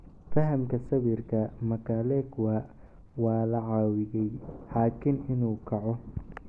Fahamka sawirka, Mkalekwa waa la caawiyey xakiin inuu kaco.